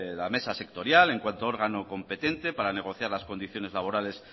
la mesa sectorial en cuanto órgano competente para negociar las condiciones laborales